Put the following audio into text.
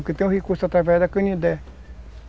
Porque tem um recurso através da Canindé.